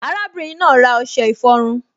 Arábìnrin náà ra ọṣẹ ìfọrun